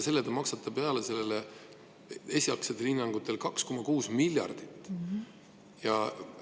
Te maksate sellele peale esialgsetel hinnangutel 2,6 miljardit eurot.